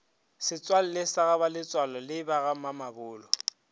setswalle sa bagaletsoalo le bagamamabolo